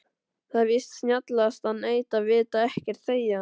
Það er víst snjallast að neita, vita ekkert, þegja.